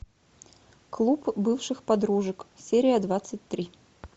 клуб бывших подружек серия двадцать три